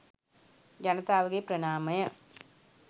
ජනතාවගේ ප්‍රණාමය.